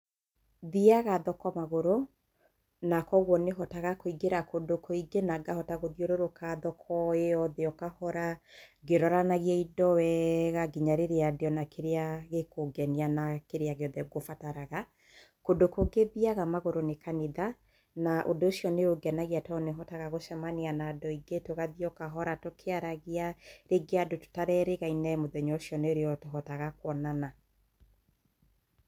Thiaga thoko magũrũ, na koguo nĩ hotaga kũingĩra kũndũ kũingĩ na ngahota gũthiũrũrũka thoko ĩyo yothe kahora ngĩroranagia indo wega nginya rĩrĩa nguona kĩrĩa gĩkũngenia na kĩria gĩothe ngũbataraga. Kũndũ kũngĩ thiaga magũrũ nĩ kanitha, na ũndũ ũcio nĩ ũngenagia, tondũ nĩ njemanagia na andũ aingĩ, tũgathiĩ o kahora tũkĩaragia, rĩngĩ andũ tũtererĩgaine mũthenya ũcio nĩ tũhotaga kuonana.